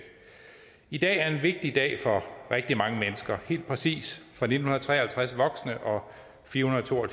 i dag er en vigtig dag for rigtig mange mennesker helt præcis for nitten tre og halvtreds voksne og fire hundrede og to og